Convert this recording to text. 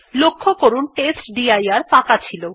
লক্ষ্য করুন টেস্টডির ফাঁকা ছিল